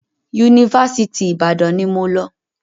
Yunifásitì Ìbàdàn ni mo lọ